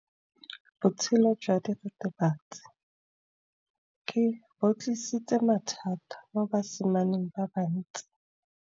Botshelo jwa diritibatsi ke bo tlisitse mathata mo basimaneng ba bantsi.